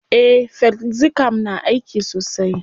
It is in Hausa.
Eh, felxicam na aiki sosai.